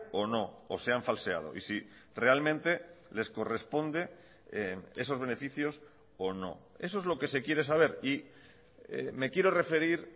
o no o se han falseado y si realmente les corresponde esos beneficios o no eso es lo que se quiere saber y me quiero referir